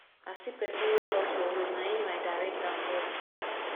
i see pesin wey loss for road na im i direct am well